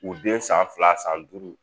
U den san fila san duuru